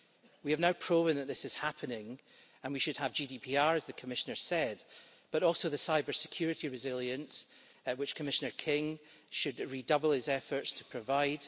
We have now proven that this is happening, and we should have GDPR, as the Commissioner said, but also the cybersecurity resilience which Commissioner King should redouble his efforts to provide.